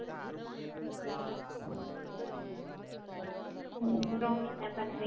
அப்பறம் என்னா பண்றீங்~